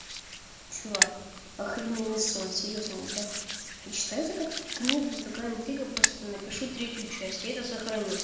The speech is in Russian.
чувак охрененный сон серьёзно я я читаю это как книгу такая интрига просто напишу третью часть я это сохраню